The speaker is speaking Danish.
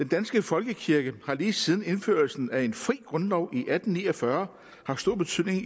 danske folkekirke har lige siden indførelsen af en fri grundlov i atten ni og fyrre haft stor betydning